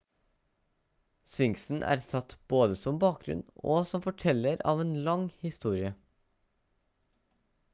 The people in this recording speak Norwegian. sphinxen er satt både som bakgrunn og som forteller av en lang historie